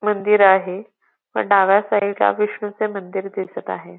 मंदिर आहे पण डाव्या साईड ला विष्णुचे मंदिर दिसत आहे.